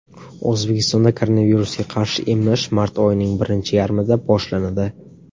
O‘zbekistonda koronavirusga qarshi emlash mart oyining birinchi yarmida boshlanadi.